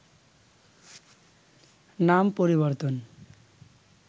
নাম পরিবর্তন